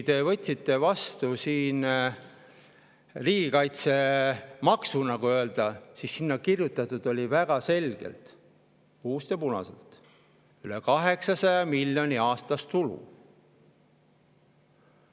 Te võtsite siin vastu nii-öelda riigikaitsemaksu ja sinna oli kirjutatud väga selgelt, puust ja punaselt: üle 800 miljoni aastas on tulu.